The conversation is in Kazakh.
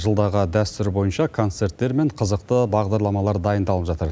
жылдағы дәстүр бойынша концерттер мен қызықты бағдарламалар дайындалып жатыр